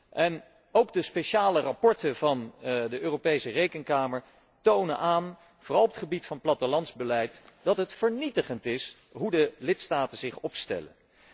En ook de speciale verslagen van de Europese Rekenkamer tonen aan, vooral op het gebied van het plattelandsbeleid, dat het vernietigend is hoe de lidstaten zich opstellen.